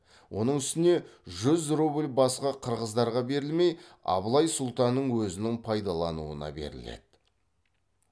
оның үстіне жүз рубль басқа қырғыздарға берілмей абылай сұлтанның өзінің пайдалануына беріледі